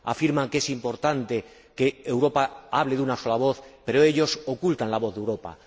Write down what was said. Afirman que es importante que Europa hable con una sola voz, pero ellos ocultan la voz de Europa.